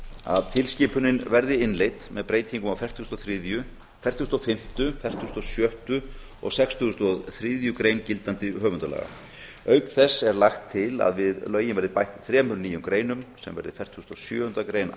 að tilskipunin verði innleidd með breytingu á fertugustu og þriðju grein fertugustu og fimmtu grein fertugustu og sjöttu grein og sextugustu og þriðju grein gildandi höfundalaga auk þess er lagt til að við lögin verði bætt þremur nýjum greinum sem verði fertugasta og sjöunda grein